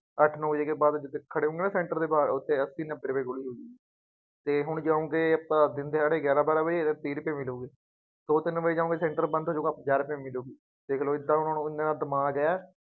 ਅੱਠ ਨੌ ਵਜੇ ਦੇ ਬਾਅਦ ਖੜ੍ਹੇ ਹੋਊਗੇ ਨਾ ਸੈੰਂਟਰ ਦੇ ਬਾਹਰ ਉੱਥੇ ਅੱਸੀ, ਨੱਬੇ ਰੁਪਏਦੀ ਗੋਲੀ ਮਿਲਦੀ ਅਤੇ ਹੁਣ ਜਿਉਂ ਕਿ ਆਪਾਂ ਦਿਨ ਦਿਹਾੜੇ ਗਿਆਰਾਂ ਬਾਰਾਂ ਵਜੇ, ਤੀਹ ਰੁਪਏ ਮਿਲੂਗੀ। ਦੋ ਤਿੰੰਨ ਮਿੰਟਾਂ ਬਾਅਦ ਸੈਂਟਰ ਬੰਦ ਹੋ ਜਾਊਗਾ, ਪੰਜਾਹ ਰੁਪਏ ਮਿਲੂਗੀ, ਦੇਖ ਲਉ ਏਦਾਂ ਹੁਣ ਐਨਾ ਦਿਮਾਗ ਹੈ।